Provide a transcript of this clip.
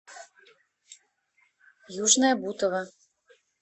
южное бутово